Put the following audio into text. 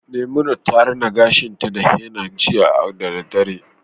Memunant rina gashinta da henna jiya da daddare